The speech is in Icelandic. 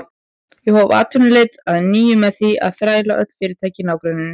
Ég hóf atvinnuleit að nýju með því að þræða öll fyrirtæki í nágrenninu.